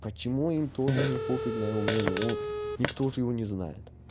почему им тоже не пофиг на и у меня нему никто ж его не знает